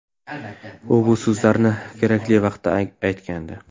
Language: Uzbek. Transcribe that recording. U bu so‘zlarni kerakli vaqtda aytgandi.